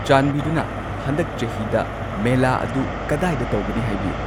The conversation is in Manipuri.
ꯆꯥꯟꯕꯤꯗꯨꯅ ꯍꯟꯗꯛ ꯆꯍꯤꯗ ꯃꯦꯂꯥ ꯑꯗꯨ ꯀꯗꯥꯏꯗ ꯇꯧꯒꯅꯤ ꯍꯥꯏꯕꯤꯌꯨ